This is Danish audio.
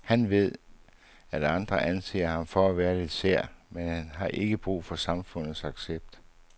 Han ved, at andre anser ham for at være lidt sær, men han har ikke brug for samfundets accept.